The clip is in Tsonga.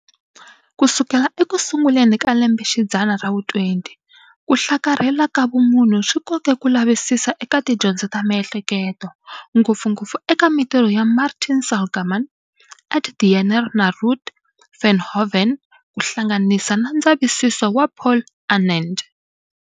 Kusukela ekusunguleni ka lembe xidzana ra vu 20, kuhlakarhela ka vumunhu swi koke ku lavisisa eka tidyondzo ta miehleketo, ngopfungopfu eka mintirho ya Martin Seligman, Ed Diener na Ruut Veenhoven, kuhlanganisa na ndzavisiso wa Paul Anand.